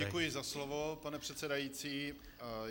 Děkuji za slovo, pane předsedající.